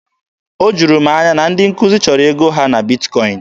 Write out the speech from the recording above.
O juru m anya na ndị nkuzi chọrọ ego ha na Bitkọin.